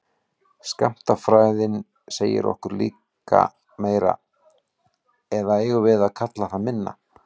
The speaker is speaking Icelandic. Skammtafræðin segir okkur líka meira, eða eigum við að kalla það minna?